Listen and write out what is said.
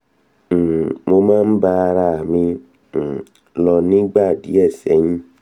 um mo máa ń bá ara à mi um lò nígbà díẹ̀ sẹ́yìn